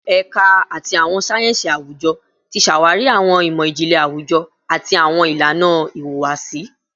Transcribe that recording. Ẹka ti Awọn sáyẹnsì Awujọ ti ṣawari awọn imọ-jinlẹ awujọ ati awọn ilana ihuwasi